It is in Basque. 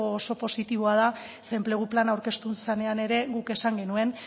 oso positiboa da zeren enplegu plana aurkeztu zenean ere guk esan genuen